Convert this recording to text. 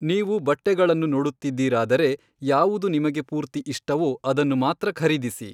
ನೀವು ಬಟ್ಟೆಗಳನ್ನು ನೋಡುತ್ತಿದ್ದೀರಾದರೆ, ಯಾವುದು ನಿಮಗೆ ಪೂರ್ತಿ ಇಷ್ಟವೋ ಅದನ್ನು ಮಾತ್ರ ಖರೀದಿಸಿ.